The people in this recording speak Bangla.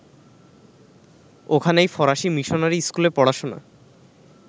ওখানেই ফরাসী মিশনারি স্কুলে পড়াশোনা